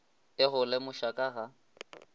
e go lemoša ka ga